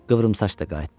Qıvrımsaç da qayıtdı.